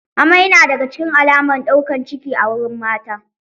Amai na daga cikin alamar ɗaukan ciki a wurin mata